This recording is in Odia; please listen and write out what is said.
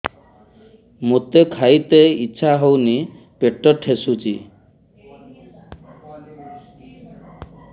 ମୋତେ ଖାଇତେ ଇଚ୍ଛା ହଉନି ପେଟ ଠେସୁଛି